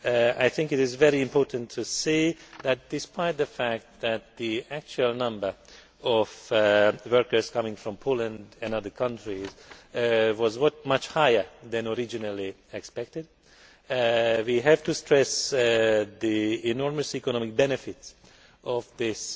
I think it is very important to say that, despite the fact that the actual number of workers coming from Poland and other countries was much higher than originally expected, we have to stress the enormous economic benefit of this